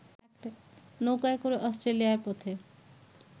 নৌকায় করে অষ্ট্রেলিয়ার পথে